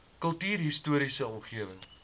kultuurhis toriese omgewing